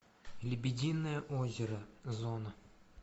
лебединое озеро зона